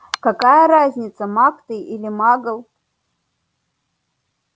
какая разница маг ты или магл